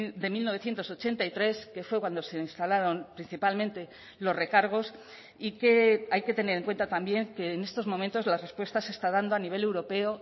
de mil novecientos ochenta y tres que fue cuando se instalaron principalmente los recargos y que hay que tener en cuenta también que en estos momentos las respuestas se está dando a nivel europeo